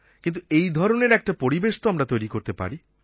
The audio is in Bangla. কিন্তু এই ধরনের একটা পরিবেশ তো আমরা তৈরি করতে পারি